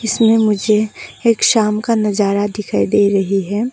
इसमें मुझे एक शाम का नजारा दिखाई दे रही है।